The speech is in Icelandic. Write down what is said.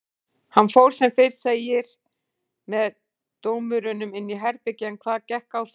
Hann fór sem fyrr segir með dómurunum inn í herbergi en hvað gekk á þar?